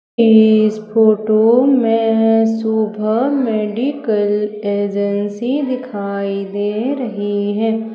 इस फोटो में Shubh medical agency दिखाई दे रही है।